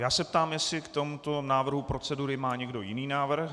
Já se ptám, jestli k tomuto návrhu procedury má někdo jiný návrh.